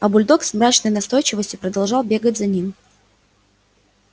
а бульдог с мрачной настойчивостью продолжал бегать за ним